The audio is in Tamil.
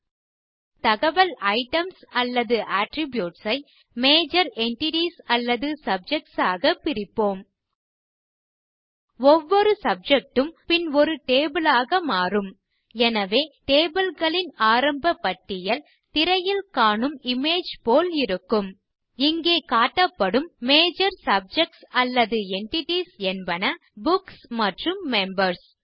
நம் தகவல் ஐட்டம்ஸ் அல்லது அட்ரிபியூட்ஸ் ஐ மஜோர் என்டிட்டீஸ் அல்லது சப்ஜெக்ட்ஸ் ஆக பிரிப்போம் ஒவ்வொரு சப்ஜெக்ட் ம் பின் ஒரு டேபிள் ஆக மாறும் எனவே tableகளின் ஆரம்ப பட்டியல் திரையில் காணும் இமேஜ் போல் இருக்கும் இங்கே காட்டப்படும் மஜோர் சப்ஜெக்ட்ஸ் அல்லது என்டிட்டீஸ் என்பன புக்ஸ் மற்றும் மெம்பர்ஸ்